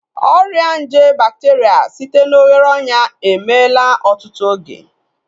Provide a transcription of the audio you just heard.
Ọrịa nje bakteria site na oghere ọnyà emeela ọtụtụ oge